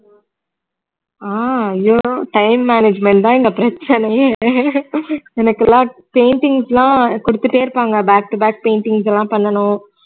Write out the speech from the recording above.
ஆஹ் அய்யோ time management தான் இங்க பிரச்சனையே எனக்கெல்லாம் paintings லாம் குடுத்துட்டே இருப்பாங்க back to back paintings எல்லாம் பண்ணனும்